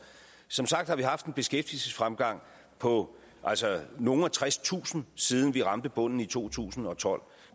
som sagt har vi haft en beskæftigelsesfremgang på nogle og tredstusind siden vi ramte bunden i to tusind og tolv